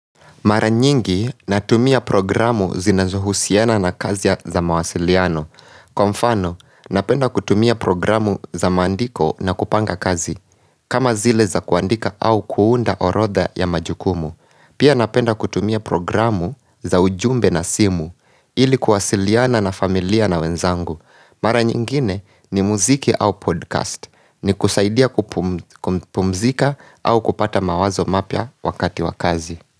Mara nyingi natumia programu zinazohusiana na kazi za mawasiliano. Kwa mfano ninapenda kutumia programu za maandiko na kupanga kazi kama zile za kuandika au kuunda orodha ya majukumu. Pia napenda kutumia programu za ujumbe na simu ili kuwasiliana na familia na wenzangu. Mara nyingine ni muziki au 'podcast'. Ni kusaidia kupumzika au kupata mawazo mapya wakati wa kazi.